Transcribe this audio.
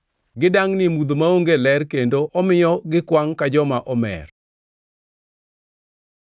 Gidangʼni ei mudho maonge ler; kendo omiyo gikwangʼ ka joma omer.”